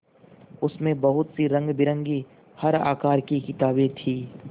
उसमें बहुत सी रंगबिरंगी हर आकार की किताबें थीं